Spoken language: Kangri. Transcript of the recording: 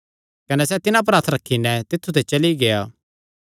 कने सैह़ तिन्हां पर हत्थ रखी नैं तित्थु ते चली गेआ